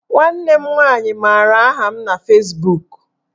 Nwanne m nwaanyị maara aha m na Fezbuk